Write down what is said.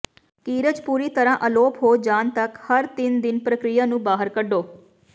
ਕੀਰਜ ਪੂਰੀ ਤਰ੍ਹਾਂ ਅਲੋਪ ਹੋ ਜਾਣ ਤੱਕ ਹਰ ਤਿੰਨ ਦਿਨ ਪ੍ਰਕਿਰਿਆ ਨੂੰ ਬਾਹਰ ਕੱਢੋ